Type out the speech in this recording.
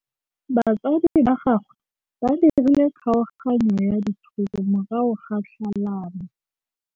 Batsadi ba gagwe ba dirile kgaoganyô ya dithoto morago ga tlhalanô.